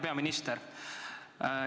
Hea peaminister!